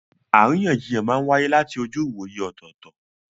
Àríyànjiyàn máa ń wáyé láti ojú ìwòye ọ̀tọ̀ọ̀tọ̀.